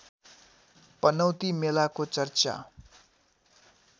पनौती मेलाको चर्चा